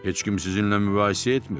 Heç kim sizinlə mübahisə etmir,